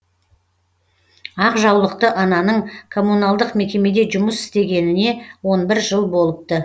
ақ жаулықты ананың коммуналдық мекемеде жұмыс істегеніне он бір жыл болыпты